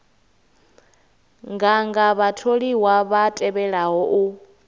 nganga vhatholiwa vha tevhelaho u